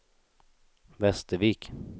Västervik